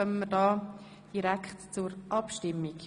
Somit kommen wir direkt zur Abstimmung.